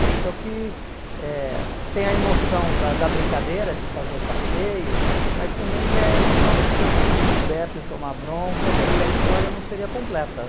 Eu acho que é o que é tem a emoção da da brincadeira, de fazer o passeio, mas também tem a emoção de ter sido descoberto e tomar bronca e a história não seria completa.